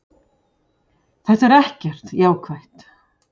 Þetta er ekkert jákvætt.